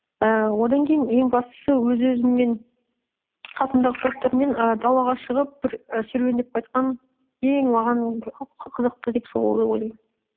ііі одан кейін ең бастысы өз өзіммен қасымдағы достармен і далаға шығып бір і серуендеп қайтқан ең маған қызықты деп солай ойлаймын